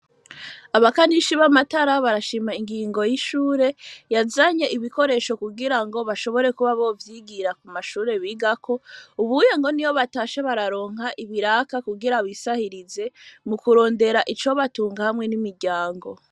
Abakanishi b'amatara, barashima ingingo y'ishure, yazanye ibikoresho kugira ngo bashobore kuba bo vyigira ku mashure bigako, ubu ngo iyo batashe bararonka ibiraka, kugira bisahirize mu kurondera ico batunga hamwe n'imiryango.